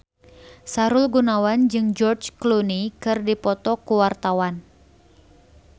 Sahrul Gunawan jeung George Clooney keur dipoto ku wartawan